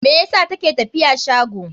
Me yasa ta ke tafiya shago?